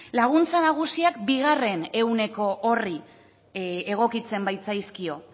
laguntza nagusiak bigarren ehuneko horri egokitzen baitzaizkio